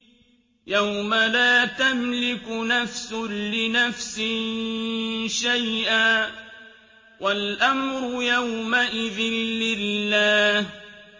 يَوْمَ لَا تَمْلِكُ نَفْسٌ لِّنَفْسٍ شَيْئًا ۖ وَالْأَمْرُ يَوْمَئِذٍ لِّلَّهِ